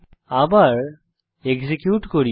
আবার এক্সিকিউট করি